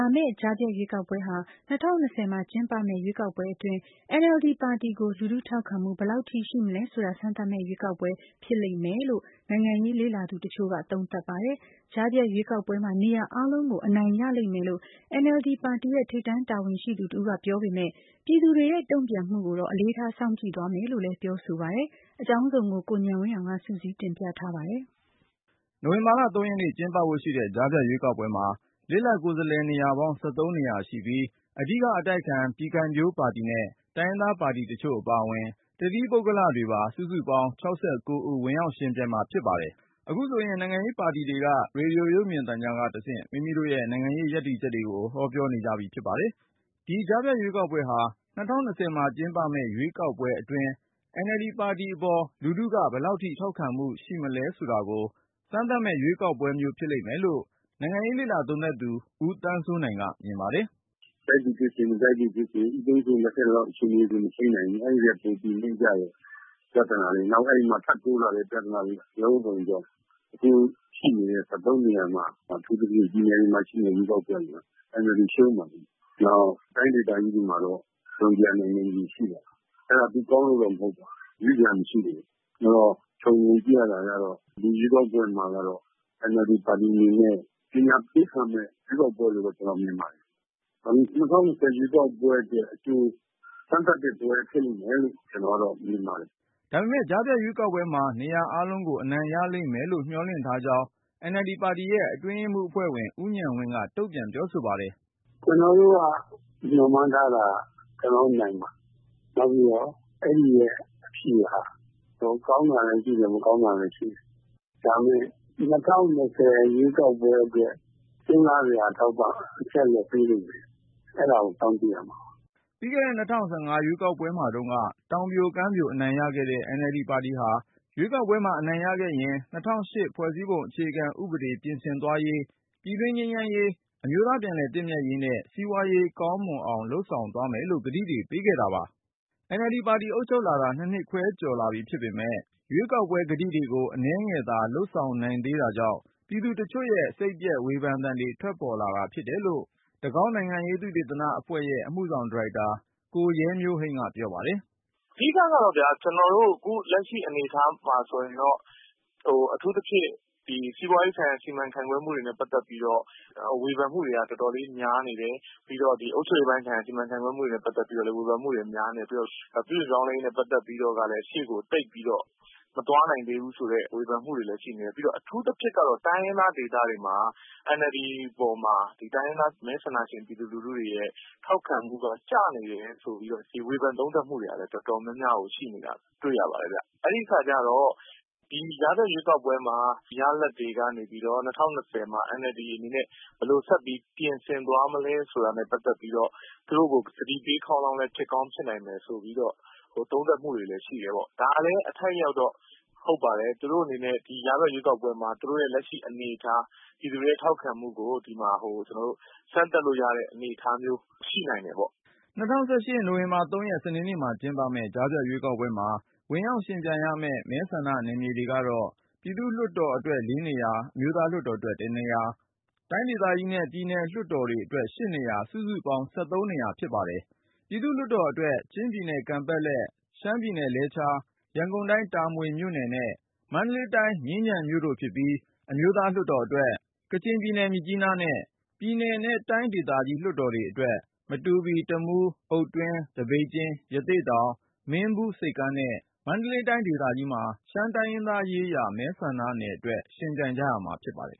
ာမယ့် ကြားဖြတ်ရွေးကောက်ပွဲဟာ ၂၀၂၀ မှာကျင်းပမယ့် ရွေးကောက်ပွဲအတွင်း NLD ပါတီကို လူထုထောက်ခံမှု ဘယ်လောက်ထိ ရှိမလဲ ဆိုတာကို စမ်းသပ်မယ့် ရွေးကောက်ပွဲ ဖြစ်လိမ့်မယ်လို့ နိုင်ငံရေးလေ့လာသူ တချို့က သုံးသပ်ပါတယ်။ ကြားဖြတ်ရွေးကောက်ပွဲမှာ နေရာ အားလုံးကို အနိုင်ရလိမ့်မယ်လို့ NLD ပါတီရဲ့ ထိပ်တန်းတာဝန်ရှိသူ တဦးက ပြောပေမယ့် ပြည်သူတွေရဲ့ တုန့်ပြန်မှုတွေကိုတော့ အလေးထား စောင့်ကြည့် သွားမယ်လို့လည်း ပြောဆိုပါတယ်။ အကြောင်းစုံကိုတော့ ကိုဉာဏ်ဝင်းအောင်က စုစည်းတင်ပြ ထားပါတယ်။ နိုဝင်ဘာလ ရက်နေ့ကျင်းပဖို့ရှိတဲ့ ကြားဖြတ်ရွေးကောက်ပွဲမှာ လစ်လပ် ကိုယ်စားလှယ်နေရာပေါင်း နေရာရှိပြီး အဓိက အတိုက်အခံ ပြည်ခံဖြိုးပါတီနဲ့ တိုင်းရင်းသားပါတီတချို့ အပါအဝင် တသီးပုဂ္ဂလိကတွေပါ စုစုပေါင်း ဦး ဝင်ရောက်ယှဉ်ပြိုင်ကြမှာ ဖြစ်ပါတယ်။ အခုဆိုရင် နိုင်ငံရေးပါတီတွေက ရေဒီယို ရုပ်မြင်သံကြားကတဆင့် မိမိတို့ရဲ့ နိုင်ငံရေး ရပ်တည်ချက်တွေကို ဟောပြောနေကြပြီ ဖြစ်ပါတယ်။ ဒီ ကြားဖြတ်ရွေးကောက်ပွဲဟာ ၂၀၂၀ မှာကျင်းပမယ့် ရွေးကောက်ပွဲအတွင်း NLD ပါတီအပေါ် လူထုက ဘယ်လောက်ထိ ထောက်ခံမှု ရှိမလဲ ဆိုတာကို စမ်းသပ်မယ့် ရွေးကောက်ပွဲမျိုး ဖြစ်လိမ့်မယ်လို့ နိုင်ငံရေးလေ့လာ သုံးသပ်သူ ဦးသန်းစိုးနိုင်က မြင်ပါတယ်။ “ ကြိုက်သည်ဖြစ်စေ မကြိုက်သည်ဖြစ်စေ၊ ဦးသိန်းစိန်လက်ထက်လောက် အခြေအနေတွေ မထိန်းနိုင်ဘူး။ အဲဒီထက် ပိုပြီးနိမ့်ကျတဲ့ ပြဿနာတွေရယ် ၊ နောက် အဲဒီမှာ ထပ်ပြီးတိုးလာတဲ့ ပြဿနာတွေ အလုံးစုံကြောင့် အခုရှိနေတဲ့ နေရာမှာ အထူးသဖြင့် ပြည်နယ်တွေမှာ ရှိနေတဲ့ ရွေးကောက်ပွဲတွေမှာ NLD ရှုံးလိမ့်မယ်။ နောက် တိုင်းဒေသကြီးတွေမှာတော့ တစုံတရာ နိုင်နိုင်ချေရှိပါတယ်။ အဲဒါ သူကောင်းလို့တော့ မဟုတ်ပါဘူး ရွေးစရာမရှိလို့ပါ။ အဲဒီတော့ ခြုံငုံကြည့်ရတာကတော့ ဒီရွေးကောက်ပွဲမှာကတော့ NLD ပါတီအနေနဲ့ ပညာပေးခံရမယ့် ရွေးကောက်ပွဲလို့ပဲ ကျနော်မြင်ပါတယ်။ ၂၀၂၀ ရွေးကောက်ပွဲအတွက် အကြို စမ်းသပ်တဲ့ပွဲ ဖြစ်လိမ့်မယ်လို့ ကျနော်ကတော့ မြင်ပါတယ်။” ဒါပေမဲ့ ကြားဖြတ်ရွေးကောက်ပွဲမှာ နေရာအားလုံးကို အနိုင်ရလိမ့်မယ်လို့ မျှော်လင့်ထားကြောင်း NLD ပါတီရဲ့အတွင်းရေးမှူးအဖွဲ့ဝင် ဦးဉာဏ်ဝင်းက တုန့်ပြန်ပြောဆိုပါတယ်။ “ ကျနော်တို့ မျှော်မှန်းထားတာက ကျနော်တို့နိုင်မှာ။ နောက်ပြီးတော့ အဲဒီရဲ့အဖြေဟာ ဟိုကောင်းတာလည်း ရှိမယ်၊ မကောင်းတာလည်း ရှိမယ်။ ဒါပေမဲ့ ၂၀၂၀ ရွေးကောက်ပွဲအတွက် စဉ်းစားစရာ အထောက်အပံ့ အချက်အလက် ပေးလိမ့်မယ်။ အဲဒါကို စောင့်ကြည့်ရမှာပါ ” ပြီးခဲ့တဲ့ ၂၀၁၅ ရွေးကောက်ပွဲမှာတုန်းက တောင်ပြိုကမ်းပြို အနိုင်ရခဲ့တဲ့ NLD ပါတီဟာ ရွေးကောက်ပွဲမှာ အနိုင်ရခဲ့ရင် ၂၀၀၈ ဖွဲ့စည်းပုံအခြေခံ ဥပဒေ ပြင်ဆင်သွားရေး၊ ပြည်တွင်းငြိမ်းချမ်းရေး အမျိုးသားပြန်လည်သင့်မြတ်ရေးနဲ့ စီးပွားရေးကောင်းမွန်အောင် လုပ်ဆောင်သွားမယ်လို့ ကတိတွေ ပေးခဲ့တာပါ။ NLD ပါတီအုပ်ချုပ်လာတာ ၂နှစ်ခွဲလောက် ရှိလာပြီဖြစ်ပေမယ့် ရွေးကောက်ပွဲကတိတွေကို အနည်းငယ်သာ လုပ်ဆောင် နိုင်သေးတာကြောင့် ပြည်သူတချို့ရဲ့ စိတ်ပျက်ဝေဖန်သံတွေသံတွေ ထွက်ပေါ်လာတယ်လို့ ဆိုသူကတော့ တကောင်း နိုင်ငံရေး သုတေသနအဖွဲ့ရဲ့ အမှုဆောင်ဒါရိုက်တာ ကိုရဲမျိုးဟိန်းဖြစ်ပါတယ်။ “ အဓိက လက်ရှိအနေအထားမှာဆိုရင်တော့ အထူးသဖြင့် စီးပွားရေးဆိုင်ရာ စီမံခန့်ခွဲမှုတွေနဲ့ပတ်သက်ပြီးတော့ ဝေဖန်မှုတွေက တော်တော်လေး များနေတယ်။ ပြီးတော့ အုပ်ချုပ်ရေးပိုင်းဆိုင်ရာ စီမံခန့်ခွဲမှုတွေအတွက်လည်း ဝေဖန်မှုတွေ များနေတယ်။ ပြီးတော့ ပြုပြင် ပြောင်းလဲရေးနဲ့ ပတ်သက်ပြီးတော့ကလည်း ရှေ့ကိုသိပ်ပြီးတော့ မသွားနိုင်ဘူးဆိုတဲ့ ဝေဖန်မှုတွေလည်း ရှိနေတယ်။ အထူးသဖြင့်ကတော့ တိုင်းရင်းသားဒေသတွေမှာ NLD ပေါ်မှာ ဒီတိုင်းရင်းသား မဲဆန္ဒရှင် ပြည်သူလူထုတွေရဲ့ ထောက်ခံမှုက ကျနေတယ်ဆိုပြီးတော့ ဝေဖန်သုံးသပ် မှုတွေကလည်း တော်တော်များများ ရှိနေတာတွေ့ရပါတယ်။ အဲဒီအခါကျတော့ ဒီကြားဖြတ် ရွေးကောက်ပွဲ ရလဒ်တွေက နေပြီးတော့ ၂၀၂၀ မှာ NLD အနေနဲ့ ဘယ်လိုဆက်ပြီး ပြင်ဆင်သွားမလဲ ဆိုတာနဲ့ပတ်သက်ပြီးတော့ သူတို့ကို သတိပေးခေါင်းလောင်းလည်း ဖြစ်ကောင်း ဖြစ်နိုင်တယ်ဆိုတဲ့ သုံးသပ်မှုတွေရှိတယ် ဒါကလည်း အထိုက်အလျှောက်တော့ ဟုတ်ပါတယ်။ NLD အနေနဲ့ ဒီကြားဖြတ် ရွေးကောက်ပွဲမှာ သူတို့ရဲ့လက်ရှိအနေအထား ပြည်သူတွေရဲ့ထောက်ခံမှုကို စမ်းသပ်လို့ရတဲ့ အနေအထားမျိုး ရှိနိုင်တယ်ပေါ့။ ” ၂၀၁၈ နိုဝင်ဘာလ ၃ရက် စနေနေ့မှာ ကျင်းပမယ့် ကြားဖြတ်ရွေးကောက်ပွဲမှာ ဝင်ရောက်ယှဉ်ပြိုင်ကြရမယ့် မဲဆန္ဒနယ်တွေကတော့ ပြည်သူ့ လွှတ်တော်အတွက် ၄ နေရာ၊ အမျိုးသားလွှတ်တော်အတွက် ၁ နေရာ၊ တိုင်းဒေသကြီးနဲ့ ပြည်နယ်လွှတ်တော်အတွက် ၈ နေရာ စုစုပေါင်း နေရာ ဖြစ်ပါတယ်။ ပြည်သူ့လွှတ်တော်အတွက် ချင်းပြည်နယ် ကန်ပက်လက်၊ ရှမ်းပြည်နယ် လဲချား၊ ရန်ကုန်တိုင်းဒေသကြီး တာမွေ၊ မန္တလေးတိုင်းဒေသကြီး မြင်းခြံ၊ အမျိုးသားလွှတ်တော်အတွက် ကချင်ပြည်နယ် မြစ်ကြီးနားနဲ့ ပြည်နယ်နဲ့ တိုင်းဒေသကြီး လွှတ်တော်အတွက် မတူပီ၊ တမူး၊ အုတ်တွင်း၊ သပိတ်ကျင်း၊ ရသေ့တောင်၊ မင်းဘူး၊ ဆိပ်ကမ်းနဲ့ မန္တလေးတိုင်းဒေသကြီးမှာ ရှမ်းတိုင်းရင်းသား မဲဆန္ဒနယ်အတွက် ယှဉ်ပြိုင်ရမှာ ဖြစ်ပါတယ်